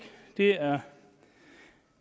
det er